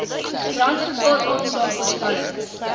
brandgevaar aanslae voorspellings